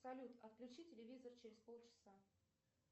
салют отключи телевизор через пол часа